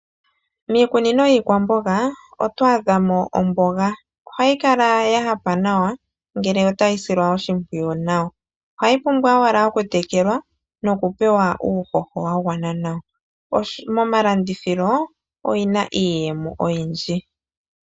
Miikunino yiikwamboga otwaadhamo omboga, nomboga ndjika ohayi kala yahapa nawa ngele otayi silwa oshimpwiyu nawa ohayi pumbwa ashike okutekelwa nokutulwa uuhoho wa gwana nawa. Momalandithilo oyina iiyemo oyindji.